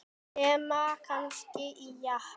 Nema kannski í Japan.